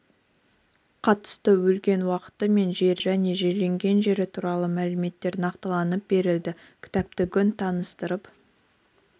қатысты өлген уақыты мен жері және жерленген жері туралы мәліметтер нақтыланып берілді кітапты бүгін таныстырып